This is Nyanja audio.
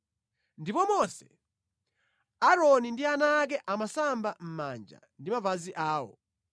ndipo Mose, Aaroni ndi ana ake amasamba manja ndi mapazi awo.